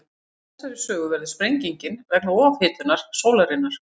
Samkvæmt þessari sögu verður sprengingin vegna ofhitnunar sólarinnar.